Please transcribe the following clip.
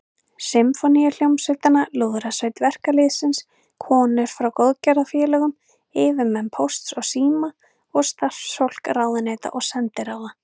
Sinfóníuhljómsveitina, Lúðrasveit verkalýðsins, konur frá góðgerðarfélögum, yfirmenn Pósts og síma og starfsfólk ráðuneyta og sendiráða.